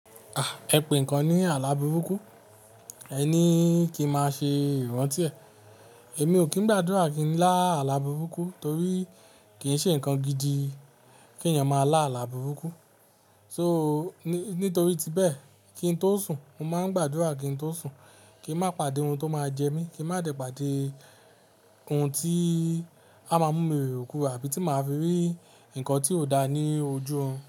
À, ẹ pè nǹkan ní àlá burúkú. Ẹ ní kí ń má ṣe ìrantí ẹ̀. Èmi ò kín ń gbàdúrà kí n lá àlá burúkú torí kì í ṣe nǹkan gidi kí ènìyàn máa lá àlá burúkú. So, nítorí ti bẹ́ẹ̀, kí n tó sùn, mo máa ń gbàdúrà kí n tó sùn, kí n má pàdé ohun tó máa jẹ mí, kí n má dẹ̀ pàdé ohun tí a máa mú mi ro erokero àbí tí màá fi rí nǹkan tí ò dáa ní ojú ọ̀run.